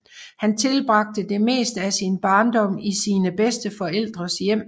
Han tilbragte det meste af sin barndom i sine bedsteforældres hjem